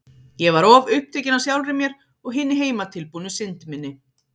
Ég var of upptekin af sjálfri mér og hinni heimatilbúnu synd minni.